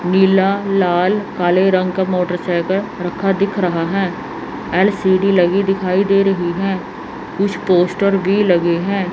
नीला लाल काले रंग का मोटरसाइकल रखा दिख रहा है एल_सी_डी लगी दिखाई दे रही है कुछ पोस्टर भी लगे हैं।